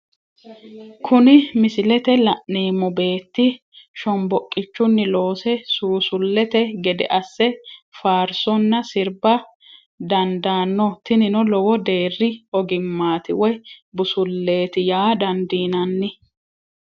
Kuni misilete la'neemo beeti shomboqichuni loose suusulete gede ase faarisonna siriba dandaano tinino lowo deeri oggimaati woyi busuleeti yaa dandinnani